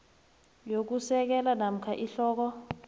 yokusekela namkha ihloko